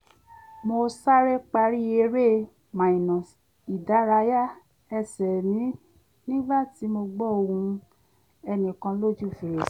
mo sáré parí eré-ìdárayá ẹsẹ̀ mi nígbà tí mo gbọ́ ohùn ẹnìkan lójú fèrèsé